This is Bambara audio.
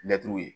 Mɛtiriw ye